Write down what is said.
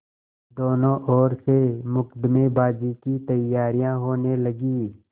दोनों ओर से मुकदमेबाजी की तैयारियॉँ होने लगीं